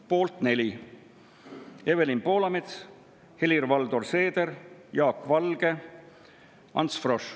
Poolt 4: Evelin Poolamets, Helir-Valdor Seeder, Jaak Valge, Ants Frosch.